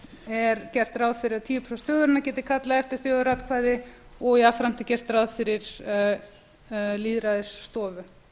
er gert ráð fyrir að tíu prósent þjóðarinnar geti kallað eftir þjóðaratkvæði og jafnframt er gert ráð fyrir lýðræðisstofu